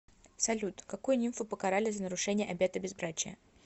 салют какую нимфу покарали за нарушение обета безбрачия